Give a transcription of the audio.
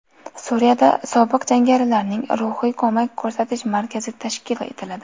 Suriyada sobiq jangarilarga ruhiy ko‘mak ko‘rsatish markazi tashkil etiladi.